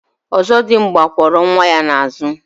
Ọzọdimgba kwọrọ nwa ya n'àzụ̀.